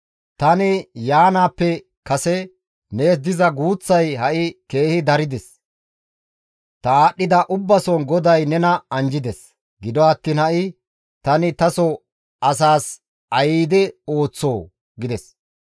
Tani yaanaappe kase nees diza guuththay ha7i keehi darides; ta aadhdhida ubbason GODAY nena anjjides; gido attiin ha7i tani taso asaas ayde ooththoo?» gides.